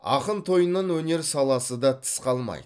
ақын тойынан өнер саласы да тыс қалмайды